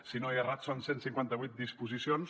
si no he errat són cent i cinquanta vuit disposicions